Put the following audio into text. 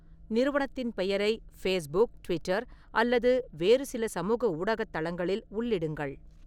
நிறுவனத்தின் பெயரை Facebook, Twitter அல்லது வேறு சில சமூக ஊடகத் தளங்களில் உள்ளிடுங்கள்.